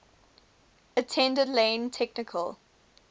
attended lane technical